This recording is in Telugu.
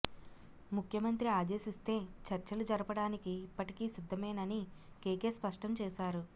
ముఖ్యమంత్రి ఆదేశిస్తే చర్చలు జరపడానికి ఇప్పటికీ సిద్ధమేనని కేకే స్పష్టం చేశారు